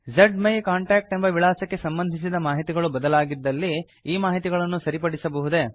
ಜ್ಮೈಕಾಂಟಾಕ್ಟ್ ಎಂಬ ವಿಳಾಸಕ್ಕೆ ಸಂಬಂಧಿಸಿದ ಮಾಹಿತಿಗಳು ಬದಲಾಗಿದ್ದಲ್ಲಿ ಈ ಮಾಹಿತಿಗಳನ್ನು ಸರಿಪಡಿಸಬಹುದೆ